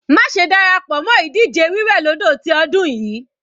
Má ṣe dára pọ̀ mọ́ ìdíje wí wẹ̀ lódò ti ọdún yìí.